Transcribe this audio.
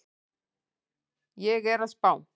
Ég er að spá.